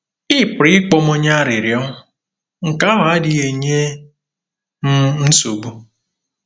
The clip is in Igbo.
“Ị pụrụ ịkpọ m onye arịrịọ; nke ahụ adịghị enye m nsogbu.